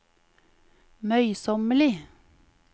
møysommelig